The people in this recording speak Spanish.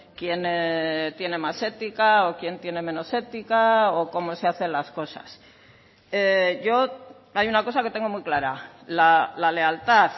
quién tiene más ética o quién tiene menos ética o como se hacen las cosas yo hay una cosa que tengo muy clara la lealtad